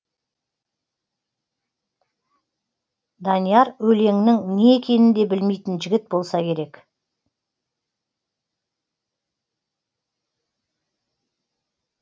данияр өлеңнің не екенін де білмейтін жігіт болса керек